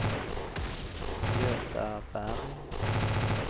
Göta Berg